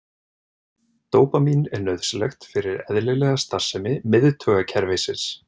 Dópamín er nauðsynlegt fyrir eðlilega starfsemi miðtaugakerfisins.